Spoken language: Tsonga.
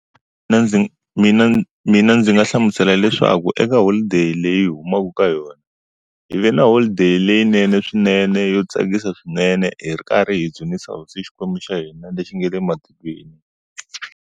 Ndzi mina mina ndzi nga hlamusela leswaku eka holiday leyi humaka ka yona, hi va na holiday leyinene swinene yo tsakisa swinene hi ri karhi hi dzunisa hosi xikwembu xa hina lexi nga le matilweni.